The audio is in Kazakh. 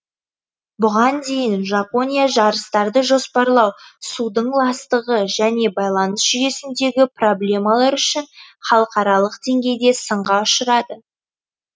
бұған дейін жапония жарыстарды жоспарлау судың ластығы және байланыс жүйесіндегі проблемалар үшін халықаралық деңгейде сынға ұшырады